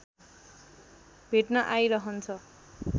भेट्न आइरहन्छ